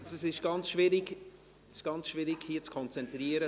Es ist ganz schwierig, sich hier zu konzentrieren.